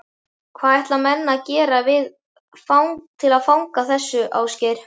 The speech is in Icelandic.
Hvað ætla menn að gera til að fagna þessu, Ásgeir?